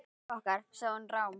Húsið okkar.- sagði hún rám.